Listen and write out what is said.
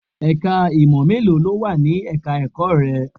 Ẹ̀ka ìmọ̀ mélòó ló wà ní ẹ̀ka ẹ̀kọ́ rẹ?